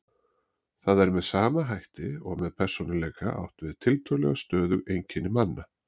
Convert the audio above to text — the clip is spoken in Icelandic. Þar er með sama hætti og með persónuleika átt við tiltölulega stöðug einkenni manna.